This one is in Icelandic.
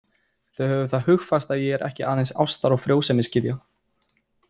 Og hafðu það hugfast að ég er ekki aðeins ástar- og frjósemisgyðja.